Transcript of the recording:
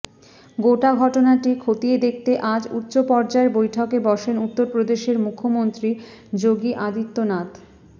গোটা ঘটনাটি খতিয়ে দেখতে আজ উচ্চ পর্যায়ের বৈঠকে বসেন উত্তরপ্রদেশের মুখ্যমন্ত্রী যোগী আদিত্যনাথ